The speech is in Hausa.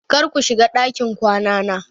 Kar ku shiga ɗakin kwanana!